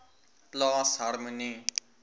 plaas harmonie